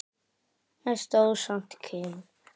En stóð samt kyrr.